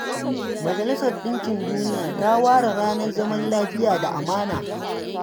Majalisar Ɗinkin Duniya ta ware ranar zaman lafiya da amana.